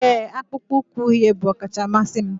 ee, akpụkpọ ụkwụ uhie bụ ọkacha mmasị m